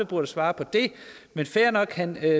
burde svare på det men fair nok han